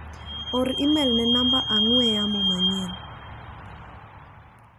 or imel ne namba ong'ue yamo manyien.